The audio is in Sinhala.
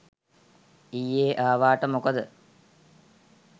ඊයෙ ආවාට මොකද